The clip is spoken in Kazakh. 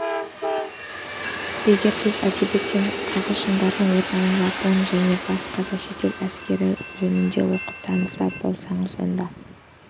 егер сіз әдебиеттен ағылшындардың отары жапон және басқа да шетел әскерлері жөнінде оқып таныс болсаңыз онда